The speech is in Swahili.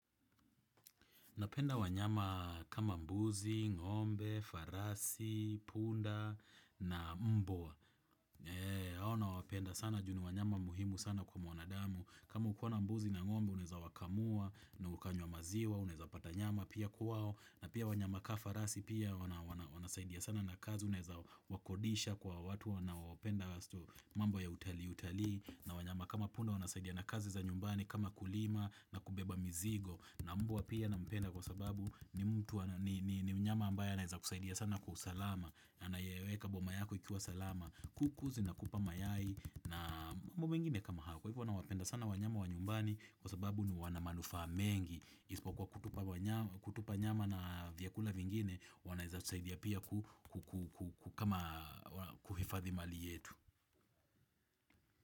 Napenda wanyama kama mbuzi, ngombe, farasi, punda na mbwa. Hao nawapenda sana juu ni wanyama muhimu sana kwa mwanadamu. Kama ukiwa na mbuzi na ngombe, unaweza wakamua, na ukanywa maziwa, unaweza pata nyama pia kwao. Na pia wanyama kaa farasi pia wanasaidia sana na kazi, unaeza wakodisha kwa watu wanaopenda haswa mambo ya utalii utalii. Na wanyama kama punda wanasaidia na kazi za nyumbani kama kulima na kubeba mizigo. Na mbwa pia nampenda kwa sababu ni mtu ni mnyama ambaye anaeza kusaidia sana kwa usalama na nayeweka boma yako ikiwa salama. Kuku zinakupa mayai na mambo mengine kama hayo. Kwa hivyo nawapenda sana wanyama wa nyumbani kwa sababu ni wana manufaa mengi Isipokuwa kutupa nyama na vyakula vingine wanaeza tusaidia pia ku kama kuhifadhi mali yetu.